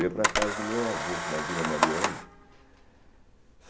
Eu ia para casa do meu avô, na Vila Mariana.